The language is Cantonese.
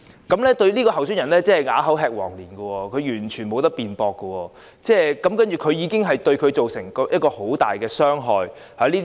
這名候選人真的是啞口吃黃蓮，完全沒有辯駁的餘地，這莫須有的罪名對他造成極大的傷害。